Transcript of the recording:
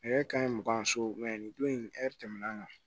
Nɛgɛ kanɲa mugan so nin don in ɛri tɛmɛna